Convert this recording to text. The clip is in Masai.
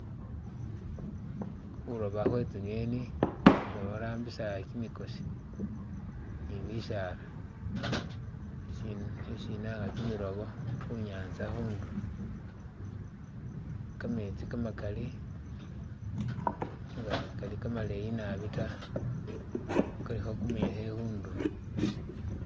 Khuloba khwe tsinyeni nga barambisa kyimikosi ni bisaala. isi na- kyimilobo khunyatsa khundulo, kametsi kamakali nenga sikali kamaleyi naabi ta kalikho kumuyekhe khundulo.